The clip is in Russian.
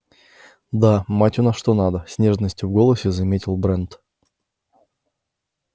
да мать у нас что надо с нежностью в голосе заметил брент